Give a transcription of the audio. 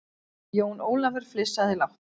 Jón Ólafur flissaði lágt.